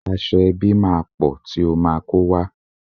Aṣọ ẹbí máa pọ̀ ti ó ma kó wá.